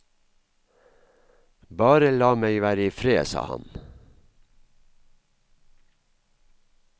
Bare la meg være i fred, sa han.